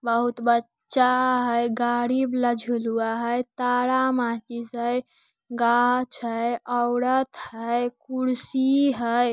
बहुत बच्चा है गाड़ी बला झुलुआ है तारा माचीस है गाछ है ऑउडात है कुड़सी है।